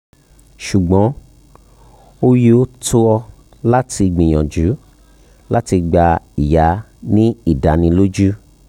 ṣugbọn o yoo tọ lati gbiyanju lati gba iya ni idaniloju